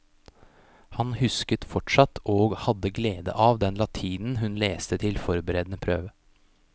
Hun husket fortsatt og hadde glede av den latinen hun leste til forberedende prøve.